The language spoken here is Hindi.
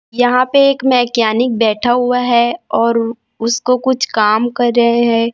यहां पे एक मैकेनिक बैठा हुआ है और उसको कुछ काम कर रहे हैं।